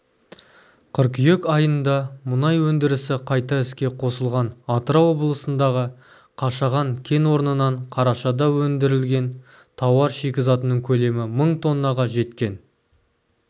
қыркүйек айында мұнай өндірісі қайта іске қосылған атырау облысындағы қашаған кен орнынан қарашада өндірілген тауар шикізатының көлемі мың тоннаға жеткен